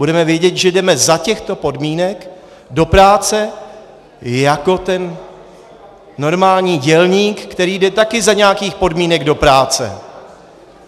Budeme vědět, že jdeme za těchto podmínek do práce jako ten normální dělník, který jde taky za nějakých podmínek do práce.